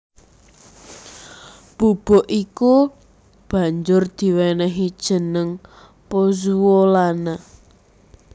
Bubuk iku banjur diwènèhi jeneng pozzuolana